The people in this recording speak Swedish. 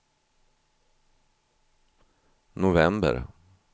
november